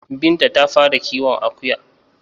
Binta ta fara kiwon Akuya